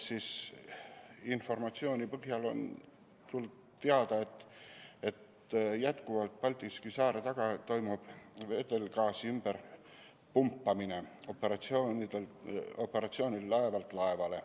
Informatsiooni põhjal on teada, et Pakri saarte taga toimub vedelgaasi ümberpumpamine laevalt laevale.